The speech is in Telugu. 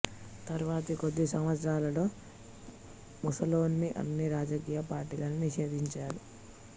తరువాతి కొద్ది సంవత్సరాల్లో ముస్సోలినీ అన్ని రాజకీయ పార్టీలను నిషేధించాడు